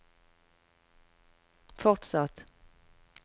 fortsatt